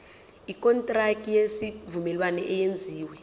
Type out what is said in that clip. ikontraki yesivumelwano eyenziwe